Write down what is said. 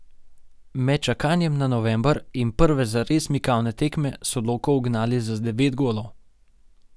Med čakanjem na november in prve zares mikavne tekme so Loko ugnali za devet golov.